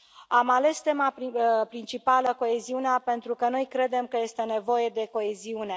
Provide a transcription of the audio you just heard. Am ales tema principală coeziunea pentru că noi credem că este nevoie de coeziune.